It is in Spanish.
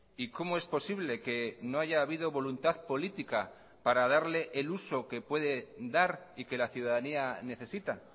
y cómo es posible que no haya habido voluntad política para darle el uso que puede dar y que la ciudadanía necesita